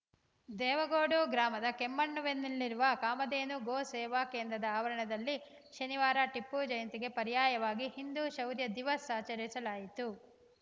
ದೇವಗೋಡು ಗ್ರಾಮದ ಕೆಮ್ಮಣ್ಣುವಿನಲ್ಲಿರುವ ಕಾಮಧೇನು ಗೋ ಸೇವಾ ಕೇಂದ್ರದ ಆವರಣದಲ್ಲಿ ಶನಿವಾರ ಟಿಪ್ಪು ಜಯಂತಿಗೆ ಪರ್ಯಾಯವಾಗಿ ಹಿಂದೂ ಶೌರ್ಯ ದಿವಸ್‌ ಆಚರಿಸಲಾಯಿತು